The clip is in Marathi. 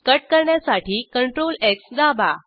कट करण्यासाठी CTRLX दाबा